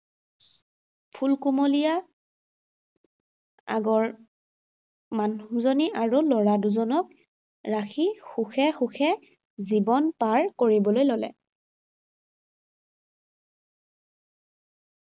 ফুলকুমীলয়া আগৰ মানুহজনী আৰু ল’ৰাদুজনক ৰাখি সুখে সুখে জীৱন পাৰ কৰিবলৈ ললে।